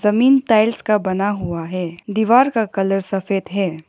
जमीन टाइल्स का बना हुआ है दीवार का कलर सफेद है।